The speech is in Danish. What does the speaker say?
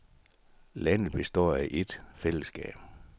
Landet består af et fællesskab.